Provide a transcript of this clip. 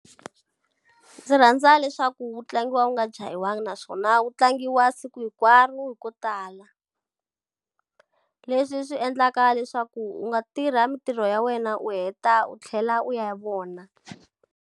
Ndzi rhandza leswaku wu tlangiwa u nga jahiwangi naswona wu tlangiwa siku hinkwaro ko tala. Leswi swi endlaka leswaku u nga tirha mitirho ya wena u heta u tlhela u ya vona.